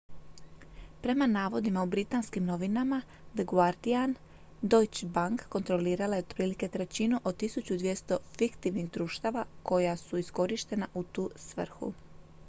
prema navodima u britanskim novinama the guardian deutsche bank kontrolirala je otprilike trećinu od 1200 fiktivnih društava koja su iskorištena u tu svrhu